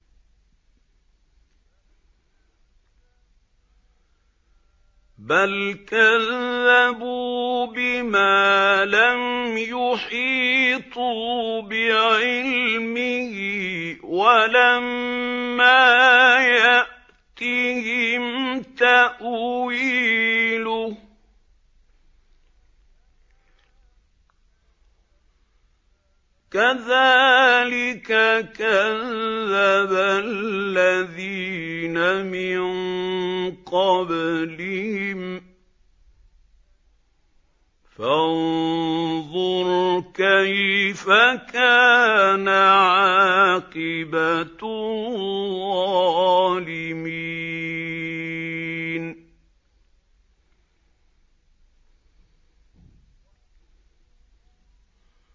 بَلْ كَذَّبُوا بِمَا لَمْ يُحِيطُوا بِعِلْمِهِ وَلَمَّا يَأْتِهِمْ تَأْوِيلُهُ ۚ كَذَٰلِكَ كَذَّبَ الَّذِينَ مِن قَبْلِهِمْ ۖ فَانظُرْ كَيْفَ كَانَ عَاقِبَةُ الظَّالِمِينَ